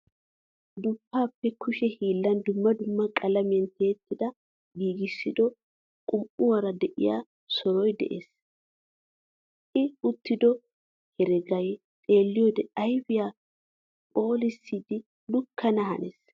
Duppaappa kushe hiillan dumma dumma qalamiya tiyidi giiggissiddo qum"uwaara de'iya soroy de'ees, I uttiddo hereggay xeeliyode ayfiya phoolissidi lukkana hanees.